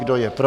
Kdo je pro?